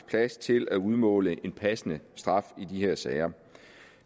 plads til at udmåle en passende straf i de her sager